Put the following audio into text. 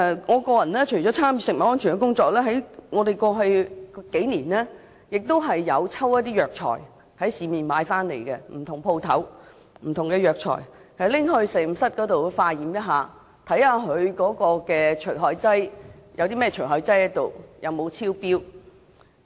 我除了參與食物安全工作外，過去數年，我亦有在市面上不同店鋪購買不同的中藥材交給實驗室化驗，看看含有甚麼除害劑及有沒有超標。